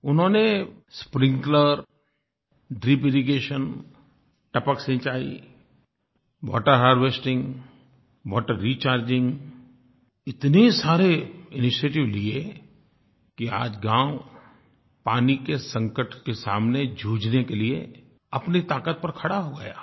उन्होंने sprinkler drip irrigation टपक सिंचाई वाटर हार्वेस्टिंग वाटर रिचार्जिंग इतने सारे इनिशिएटिव लिये कि आज गाँव पानी के संकट के सामने जूझने के लिए अपनी ताकत पर खड़ा हो गया